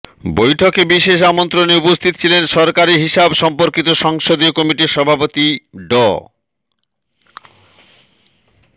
বৈঠকে বিশেষ আমন্ত্রণে উপস্থিত ছিলেন সরকারি হিসাব সম্পর্কিত সংসদীয় কমিটির সভাপতি ড